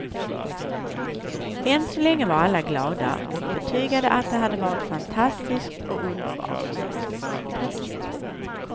Än så länge var alla glada och betygade att det hade varit fantastiskt och underbart.